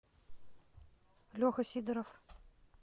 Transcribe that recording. леха сидоров